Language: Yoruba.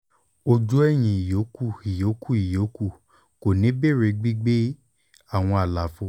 ojú ẹ̀yin ìyókù ìyókù ìyókù kò ní béèrè gbígbé àwọn àlàfo